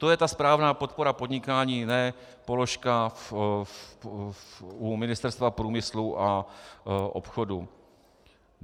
To je ta správná podpora podnikání, ne položka u Ministerstva průmyslu a obchodu.